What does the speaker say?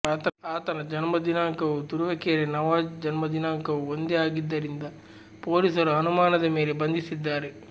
ಆತನ ಜನ್ಮ ದಿನಾಂಕವೂ ತುರುವೇಕೆರೆ ನವಾಜ್ ಜನ್ಮ ದಿನಾಂಕವೂ ಒಂದೇ ಆಗಿದ್ದರಿಂದ ಪೊಲೀಸರು ಅನುಮಾನದ ಮೇಲೆ ಬಂಧಿಸಿದ್ದಾರೆ